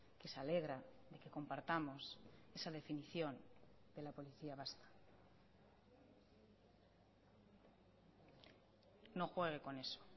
que se alegra que compartamos esa definición de la policía vasca no juegue con eso